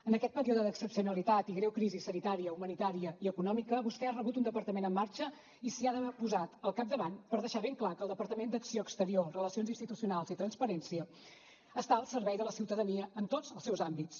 en aquest període d’excepcionalitat i greu crisi sanitària humanitària i econòmica vostè ha rebut un departament en marxa i s’hi ha posat al capdavant per deixar ben clar que el departament d’acció exterior relacions institucionals i transparència està al servei de la ciutadania en tots els seus àmbits